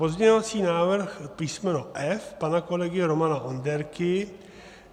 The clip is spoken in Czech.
Pozměňovací návrh písmeno F pana kolegy Romana Onderky.